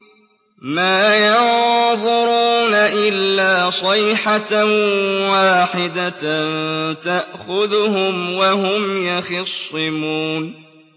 مَا يَنظُرُونَ إِلَّا صَيْحَةً وَاحِدَةً تَأْخُذُهُمْ وَهُمْ يَخِصِّمُونَ